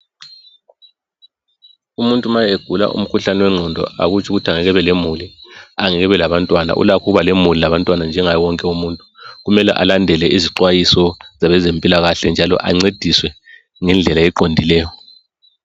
Umuntu ma egula umkhuhlane wengqondo, akutsho ukuthi angeke abe lemuli, angeke ebe labantwana. Ulakho ukuba lemuli, labantwana , njengabo wonke umuntu, Kumele alandele izixwayiso, zabezempilakahle, njalo ancediswe ngendlela eqondileyo.